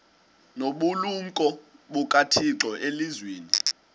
nobulumko bukathixo elizwini